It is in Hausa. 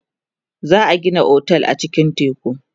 za'a Gina otel a cikin tekun